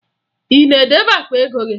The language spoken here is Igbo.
Ị na-edebe akpa ego gị?